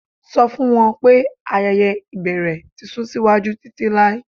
Sọ fun wọn pe ayẹyẹ ibẹrẹ ti sun siwaju titilai